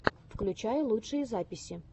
включай лучшие записи